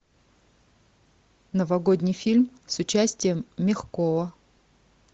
новогодний фильм с участием мягкова